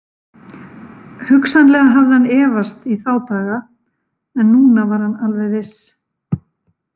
Hugsanlega hafði hann efast í þá daga en núna var hann alveg viss.